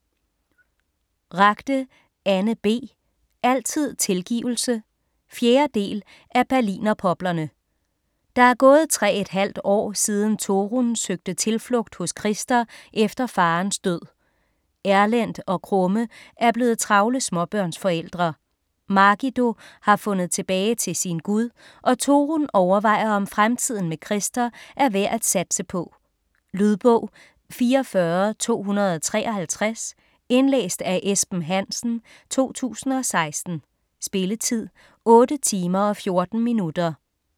Ragde, Anne B.: Altid tilgivelse 4. del af Berlinerpoplerne. Der er gået tre et halvt år siden Torunn søgte tilflugt hos Christer efter farens død. Erlend og Krumme er blevet travle småbørnsforældre, Margido har fundet tilbage til sin Gud og Torunn overvejer om fremtiden med Christer er værd at satse på. Lydbog 44253 Indlæst af Esben Hansen, 2016. Spilletid: 8 timer, 14 minutter.